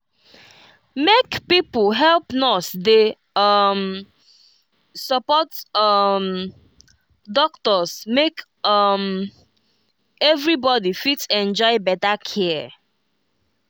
make pipo help nurse dey um support um doctors make um everybody fit enjoy better care.